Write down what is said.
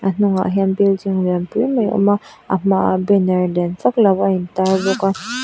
A hnungah hian building lian pui mai a awm a a hmaah banner lian vak lo a intar bawk a.